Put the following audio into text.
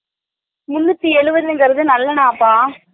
முன்னுத்தி எழுபதுகிறது நல்லண்ணை ஆத்தா